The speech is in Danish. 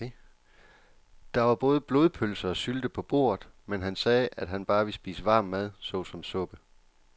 Der var både blodpølse og sylte på bordet, men han sagde, at han bare ville spise varm mad såsom suppe.